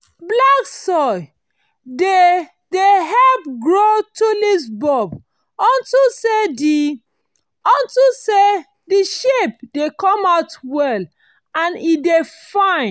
black soil dey dey help grow tulip bulb unto say the unto say the shape dey come out well and e dey fine